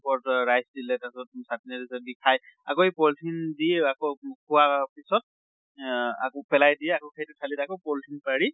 ওপৰত rice দিলে তাছত চাতনী দি খাই আকৌ এই polythene দি আকৌ খোৱা পিছত য়া আকৌ পেলাই দিয়ে আকৌ সেইটো থালিত আকৌ polythene পাৰি